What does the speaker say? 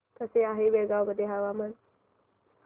कसे आहे बेळगाव मध्ये हवामान